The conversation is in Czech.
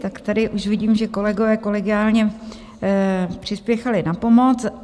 Tak tady už vidím, že kolegové kolegiálně přispěchali na pomoc.